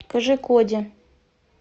кожикоде